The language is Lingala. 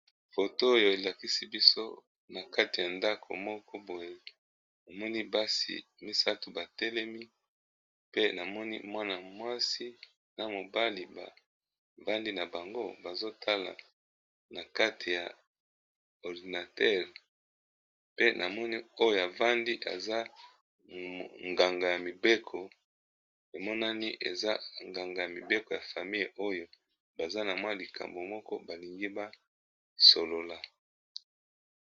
photo oyo elakisi biso na kati ya ndako moko boye, omoni basi misato batelemi ! pe namoni mwana mwasi, na mobali bavandi na bango bazotala na kati ya ordinatere . pe na moni oyo avandi aza nganga ya mibeko emonani eza nganga ya mibeko ya famille oyo baza na mwa likambo moko balingi baosolola.